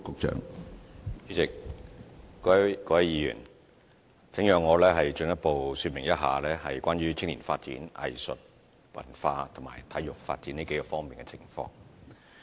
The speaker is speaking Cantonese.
主席、各位議員，請讓我進一步說明一下關於青年發展、藝術與文化，以及體育發展這數方面的情況。